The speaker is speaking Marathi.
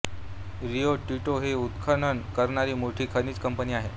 रिओ टिंटो ही उत्खनन करणारी मोठी खनिज कंपनी आहे